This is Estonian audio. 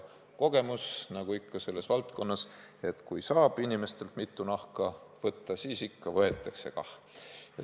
Kogemus, nagu ikka selles valdkonnas, on selline: kui ikka saab inimestelt mitu nahka võtta, siis võetakse kah.